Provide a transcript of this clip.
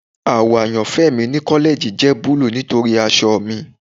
Awọ ayanfẹ mi ni kọlẹji jẹ buluu nitori aṣọ mi